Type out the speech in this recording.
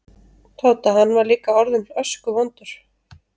Tóta, hann var líka orðinn öskuvondur.